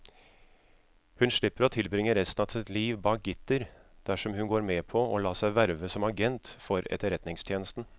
Hun slipper å tilbringe resten av sitt liv bak gitter dersom hun går med på å la seg verve som agent for etterretningstjenesten.